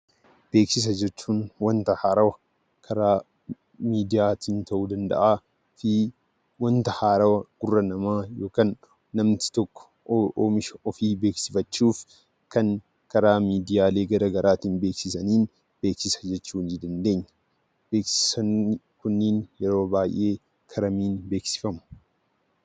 Beeksisa jechuun wanta haaraa karaa miidiyaatiin ta'uu danda'a fi wanta haaraa gurra namaa yookaan namni tokko oomisha ofii beeksifachuuf kan karaalee miidiyaa gara garaatiin beeksisaniin 'Beeksisa' jechuu dandeenya. Beeksisoonni kunniin yeroo baay'ee kara kamiin beeksifamu?